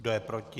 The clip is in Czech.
Kdo je proti?